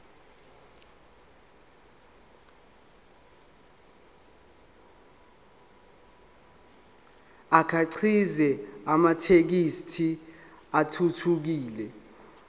akhiqize amathekisthi athuthukile